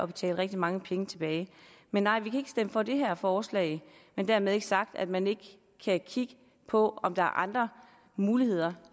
betale rigtig mange penge tilbage men nej vi kan for det her forslag men dermed ikke sagt at man ikke kan kigge på om der er andre muligheder